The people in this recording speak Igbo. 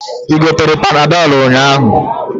I gotere panadolu ụnyaahụ?